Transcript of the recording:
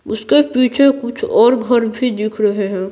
उसके पीछे कुछ और घर भी दिख रहे हैं।